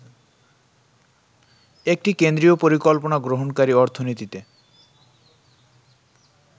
একটি কেন্দ্রীয় পরিকল্পনা গ্রহনকারী অর্থনীতিতে